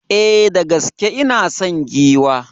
E, da gaske ina son giwa.